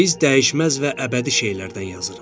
Biz dəyişməz və əbədi şeylərdən yazırıq.